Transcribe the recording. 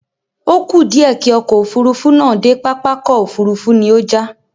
Ó kù díẹ̀ kí ọkọ̀ Òfurufú náà dé pápákọ̀ òfuurufú ni ó já